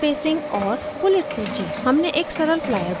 हमने एक सरल flyer बनाना भी सीखा